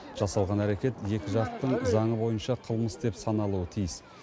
жасалған әрекет екі жақтың заңы бойынша қылмыс деп саналуы тиіс